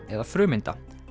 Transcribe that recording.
eða frumeinda